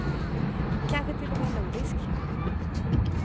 Kanske till och med en nordisk.